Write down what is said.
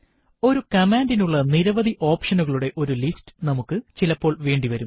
ഒരു കമാൻഡിനുള്ള നിരവധി ഒപ്ഷനുകളുടെ ഒരു ലിസ്റ്റ് നമുക്ക് ചിലപ്പോൾ വേണ്ടി വരും